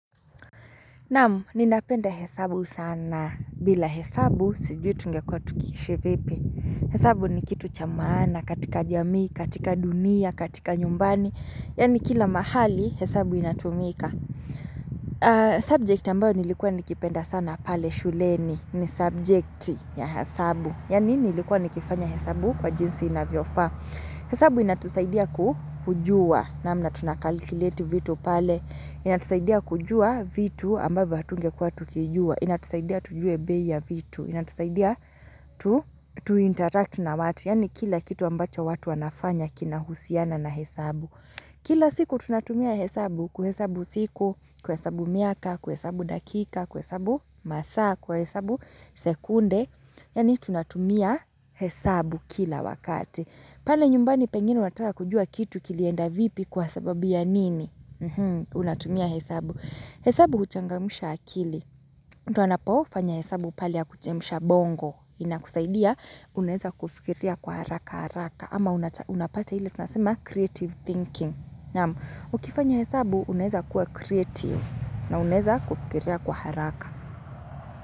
Naam, ninapenda hesabu sana bila hesabu sijui tungekwa tukiishi vipi. Hesabu ni kitu chamaana katika jamii, katika dunia, katika nyumbani. Yaani kila mahali hesabu inatumika. Subject ambayo nilikua nikipenda sana pale shuleni ni subject ya hesabu. Yaani nilikua nikifanya hesabu kwa jinsi inavyofa. Hesabu inatusaidia kujua. Namna, tunakalikileti vitu pale. Inatusaidia kujua vitu ambavyo hatungekuwa tukijua. Inatusaidia tujue bei vitu. Inatusaidia tu interact na watu. Yaani kila kitu ambacho watu wanafanya kinahusiana na hesabu. Kila siku tunatumia hesabu kuhesabu siku, kuhesabu miaka, kuhesabu dakika, kuhesabu masaa, kuhesabu sekunde. Yani tunatumia hesabu kila wakati. Pale nyumbani pengine wataka kujua kitu kilienda vipi kwa sababu ya nini? Unatumia hesabu. Hesabu huchangamusha akili. Mtu anapofanya hesabu pale ya kuchemusha bongo. Ina kusaidia, unaeza kufikiria kwa haraka haraka. Ama unapata ile tunasema creative thinking. Ukifanya hesabu, unaeza kuwa creative na unaeza kufikiria kwa haraka.